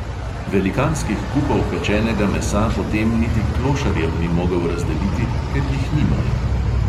Velikanskih kupov pečenega mesa potem niti klošarjem ni mogel razdeliti, ker jih nimajo!